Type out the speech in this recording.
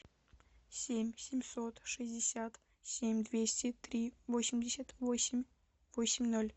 семь семьсот шестьдесят семь двести три восемьдесят восемь восемь ноль